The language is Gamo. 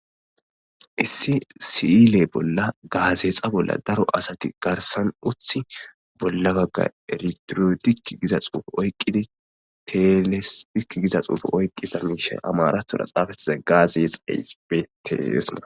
issi si7ile bolla gaazeexa bolla daro asati garsan uthi bolla bagga eritirodik giza xuufe oykqidi telesipik giza xuufe oyqqiza miishay amaratora xaafetiza gaazeex eype teesma